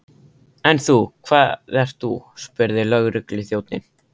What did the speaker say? En þú, hvað ert þú? spurði lögregluþjónninn.